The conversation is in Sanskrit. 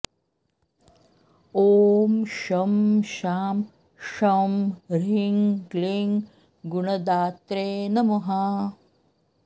ॐ शं शां षं ह्रीं क्लीं गुणदात्रे नमः